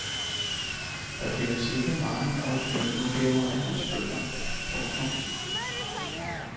Der findes ikke mange originaludgaver af hans bøger. punktum